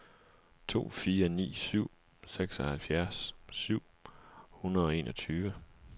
to fire ni syv seksoghalvfjerds syv hundrede og enogtyve